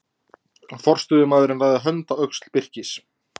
Forstöðumaðurinn lagði hönd á öxl Birkis.